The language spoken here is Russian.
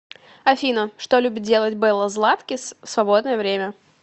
афина что любит делать белла златкис в свободное время